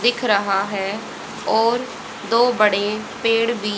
दिख रहा है और दो बड़े पेड भी --